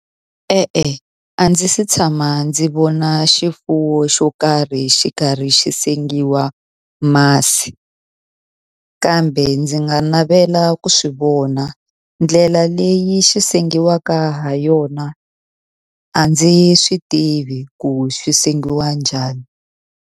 E-e a ndzi se tshama ndzi vona xifuwo xo karhi xi karhi xi sengiwa masi kambe ndzi nga navela ku swivona ndlela leyi xi sengiwaka ha yona a ndzi swi tivi ku swi sengiwa njhani.